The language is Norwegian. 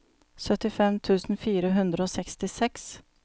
syttifem tusen fire hundre og sekstiseks